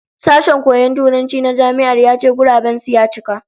Sashen koyon Turanci na Jami'ar ya ce guraben su ya cika